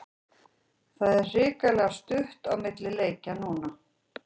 Það er hrikalega stutt á milli leikja núna.